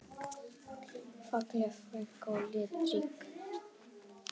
Falleg frænka og litrík.